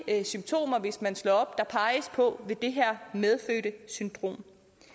symptomer hvis man slår op på det her medfødte syndrom